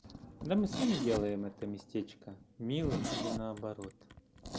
да мы сами делаем это местечко милым или наоборот